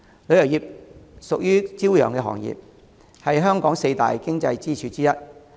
旅遊業屬於朝陽行業，是香港四大經濟支柱之一。